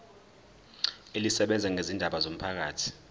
elisebenza ngezindaba zomphakathi